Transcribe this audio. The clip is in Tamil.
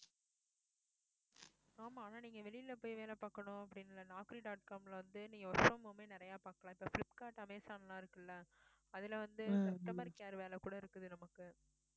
ஆமா ஆனா நீங்க வெளியில போய் வேலை பார்க்கணும் அப்படின்னு இல்ல dot com ல இருந்து நீங்க work from home ஏ நிறைய பாக்கலாம் இப்ப flipkart amazon லாம் இருக்குல்ல அதுல வந்து customer care வேலை கூட இருக்குது நமக்கு